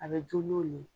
A bɛ dun n'o le ye